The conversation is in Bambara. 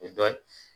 Dɔ